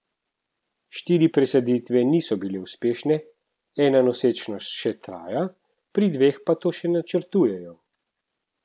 Štiri presaditve niso bile uspešne, ena nosečnost še traja, pri dveh pa to še načrtujejo.